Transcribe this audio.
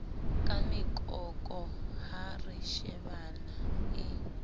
ka mekoko ha reshebana e